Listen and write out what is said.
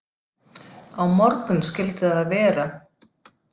Á morgun skyldi það vera.